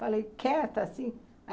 Falei, quieta assim.